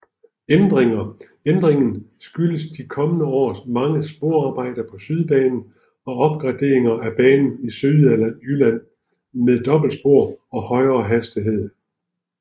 Ændringen skyldes de kommende års mange sporarbejder på Sydbanen og opgraderinger af banen i Sydjylland med dobbeltspor og højere hastighed